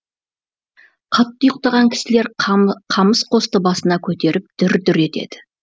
қатты ұйқтаған кісілер қамыс қосты басына көтеріп дүр дүр етеді